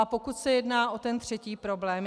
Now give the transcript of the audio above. A pokud se jedná o ten třetí problém.